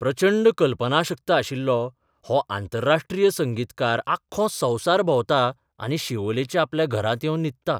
प्रचंड कल्पनाशक्त आशिल्लो हो आंतरराष्ट्रीय संगीतकार आख्खो संवसार भोंवता आनी शिवोलेच्या आपल्या घरांत येवन न्हिदता.